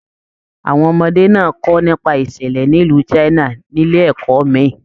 Àwọn ọmọdé náà kọ nípa ìṣẹlẹ nílu China nílé ẹ̀kọ́ mí.